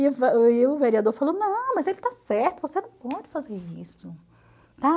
e o vereador falou, não, mas ele está certo, você não pode fazer isso.